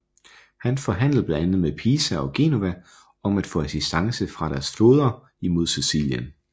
Han forhandlede blandt andet med Pisa og Genova om at få assistance fra deres flåder imod Sicilien